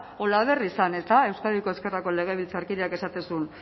olaberri zen euskadiko ezkerrako legebiltzarkideak esaten zuen